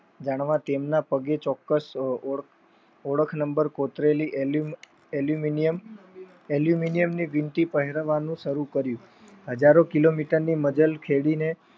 તેમના પગે ચોક્ક્સ ઓળખ નંબર કોતરેલી Aluminium ભિમતિ પહેરવાનું શરુ કર્યું. હજારો kilometers ની મઝર ખેદિને